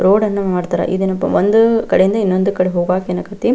road ಅನ್ನಾ ಮಾಡ್ತಾರಾ ಇದೇನಪ್ಪ ಒಂದು ಕಡೆಯಿಂದ ಇನ್ನೊಂದ್ ಕಡೆಗೆ ಹೋಗಾಕ ಏನಾಗೈತಿ --